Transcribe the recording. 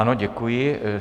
Ano, děkuji.